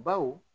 Baw